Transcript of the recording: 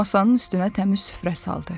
Masanın üstünə təmiz süfrə saldı.